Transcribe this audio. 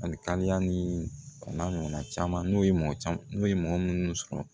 Ani ni a n'a ɲɔgɔnna caman n'o ye n'o ye mɔgɔ munnu sɔrɔ